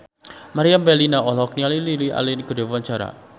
Meriam Bellina olohok ningali Lily Allen keur diwawancara